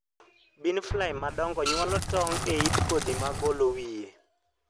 bean fly modongo nyuolo tong e yit kodhi magolo wiye.